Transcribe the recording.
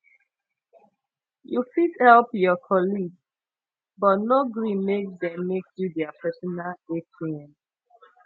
you fit help your colleague but no gree make dem make you their personal atm